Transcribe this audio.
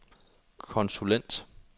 konsulent